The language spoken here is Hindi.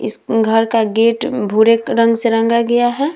इस उम घर का गेट उम भूरे रंग से रंगा गया है।